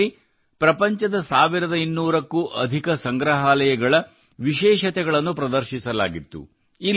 ಇದರಲ್ಲಿ ಪ್ರಪಂಚದ 1200 ಕ್ಕೂ ಅಧಿಕ ಸಂಗ್ರಹಾಲಯಗಳ ವಿಶೇಷತೆಗಳನ್ನು ಪ್ರದರ್ಶಿಸಲಾಗಿತ್ತು